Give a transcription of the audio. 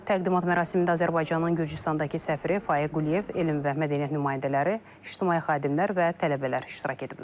Təqdimat mərasimində Azərbaycanın Gürcüstandakı səfiri Faiq Quliyev, elm və mədəniyyət nümayəndələri, ictimai xadimlər və tələbələr iştirak ediblər.